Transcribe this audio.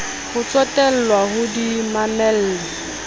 ho tsotellwa o di mamelle